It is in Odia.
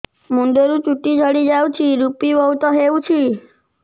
ମୁଣ୍ଡରୁ ଚୁଟି ଝଡି ଯାଉଛି ଋପି ବହୁତ ହେଉଛି